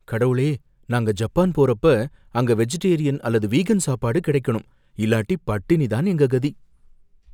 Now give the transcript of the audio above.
கடவுளே, நாங்க ஜப்பான் போறப்ப அங்க வெஜிடேரியன் அல்லது வீகன் சாப்பாடு கிடைக்கணும், இல்லாட்டி பட்டினி தான் எங்க கதி!